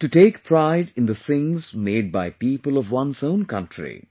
to take pride in the things made by people of one's own country